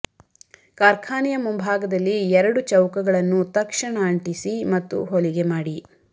ಕಾರ್ಖಾನೆಯ ಮುಂಭಾಗದಲ್ಲಿ ಎರಡು ಚೌಕಗಳನ್ನು ತಕ್ಷಣ ಅಂಟಿಸಿ ಮತ್ತು ಹೊಲಿಗೆ ಮಾಡಿ